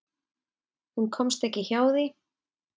Hún komst ekki hjá því.